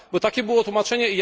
Bo takie było tłumaczenie.